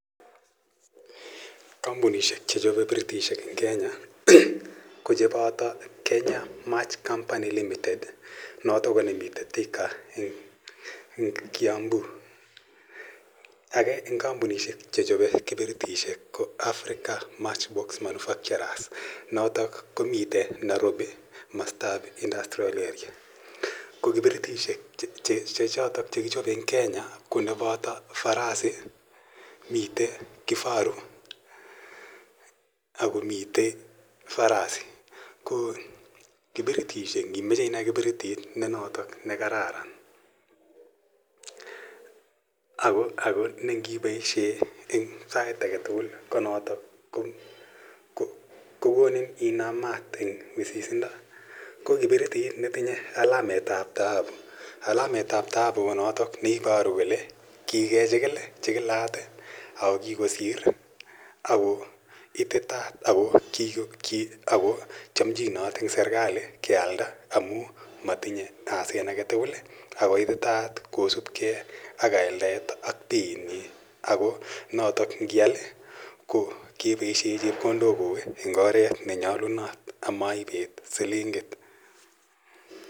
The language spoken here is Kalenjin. Kampunishek che chope piritishek eng' Kenya ko che pata Kenya Match Company Limited notok ne nemitei Thika eng' Kiambu. Age eng' kampunishek che chope kipiritishek ko Africa Matchbox Manufacturers, notok komiten Nairobi komastap industrial area. Ko kipiriteshek che chotok che kichope eng' Kenya ko notok ne pata farasi, mitei kifaru, ako mitei rhino. Ko Kipiritishek ,ngi mache inai kiperitit ne notok ne kararan ako ne ngipaishe eng' sait age tugul ko notok ko konim inam maat eng' wisisindo, ko kiperitit ne tinye alamet ap taabu. Alamet ap taabu ko notok ne iparu kole kikechikil i, chikilat, ako kikosir ako ititaat ako chamchinot eng' serkali kealda amu matinye asen age tugul ako ititaat kosupgei ak aldaet ak peiitnyi. Notok ngial ko kepaishe chepkondokuk eng' oret ne nyalunot am ipet silingit.